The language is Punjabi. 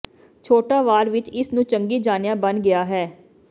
ਛੋਟਾ ਵਾਰ ਵਿਚ ਇਸ ਨੂੰ ਚੰਗੀ ਜਾਣਿਆ ਬਣ ਗਿਆ ਹੈ